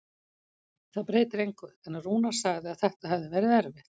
Það breytir engu, en Rúnar sagði að þetta hefði verið erfitt.